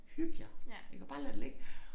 Hyg jer iggå bare lad det ligge